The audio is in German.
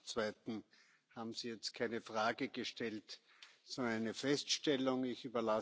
Zum Zweiten haben Sie jetzt keine Frage gestellt, sondern eine Feststellung gemacht.